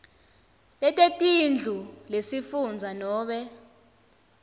letetindlu lesifundza nobe